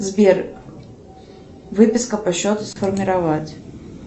сбер выписка по счету сформировать